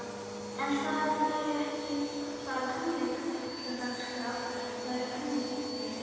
En það eru ekki bara tónleikadagskrá, það er önnur dagskrá?